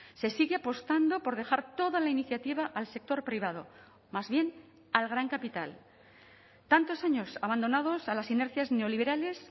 se sigue apostando por dejar toda la iniciativa al sector privado más bien al gran capital tantos años abandonados a las inercias neoliberales